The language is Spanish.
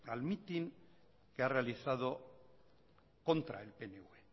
al mitin que ha realizado contra el pnv